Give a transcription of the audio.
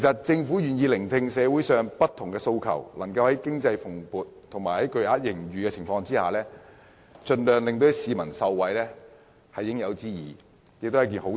政府願意聆聽社會上不同訴求，在經濟蓬勃和錄得巨額盈餘的情況下，盡量讓市民受惠，是應有之義，也是好事。